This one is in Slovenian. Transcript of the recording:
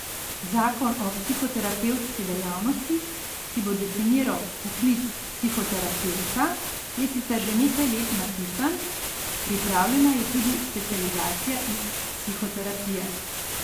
Zakon o psihoterapevtski dejavnosti, ki bo definiral poklic psihoterapevta, je sicer že nekaj let napisan, pripravljena je tudi specializacija iz psihoterapije.